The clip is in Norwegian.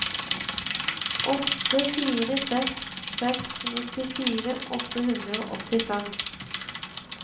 åtte fire seks seks nittifire åtte hundre og åttifem